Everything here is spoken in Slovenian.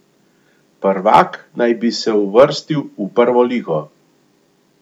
Prvak naj bi se uvrstil v prvo ligo.